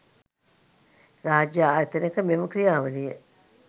රාජ්‍ය ආයතනයක මෙම ක්‍රියාවලිය